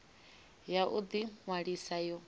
ya u ḓi ṅwalisa yo